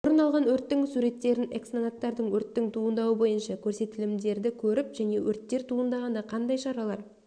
орын алған өрттердің суреттерін экснонаттарды өрттің туындауы бойынша көрсетілімдерді көріп және өрттер туындағанда қандай шаралар